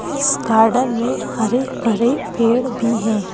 इस गार्डन में हरे भरे पेड़ भी हैं।